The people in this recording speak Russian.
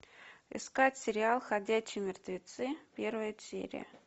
искать сериал ходячие мертвецы первая серия